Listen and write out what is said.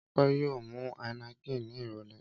Ọpẹ́ yóò mu Heineken ní ìrọ́lẹ́.